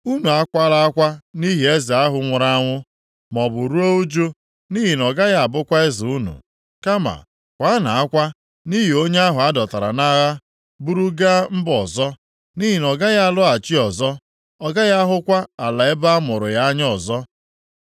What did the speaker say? Unu akwala akwa nʼihi eze ahụ nwụrụ anwụ, maọbụ ruo ụjụ nʼihi na ọ gaghị abụkwa eze unu, kama kwaanụ akwa nʼihi onye ahụ a dọtara nʼagha buru gaa mba ọzọ. Nʼihi na ọ gaghị alọghachi ọzọ; ọ gaghị ahụkwa ala ebe a mụrụ ya anya ọzọ.